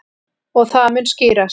Og það mun skýrast.